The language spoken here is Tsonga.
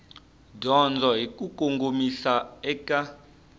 dyondzo hi ku kongomisa eka